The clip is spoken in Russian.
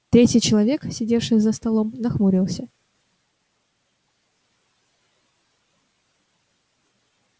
третий человек сидевший за столом нахмурился